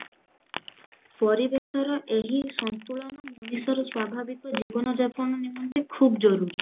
ପରିବେଶର ଏହି ସନ୍ତୁଳନ ମଣିଷର ସ୍ଵାଭାବିକ ଜୀବନ ଯାପନ ନିମନ୍ତେ ଖୁବ ଜରୁରୀ